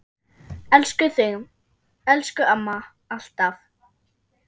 Elskum þig, elsku amma, alltaf.